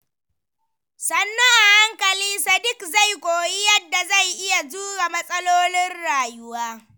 Sannu a hankali, Sadiq zai koyi yadda zai iya jure matsalolin rayuwa.